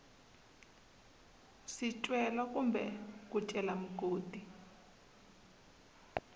swicelwa kumbe ku cela mugodi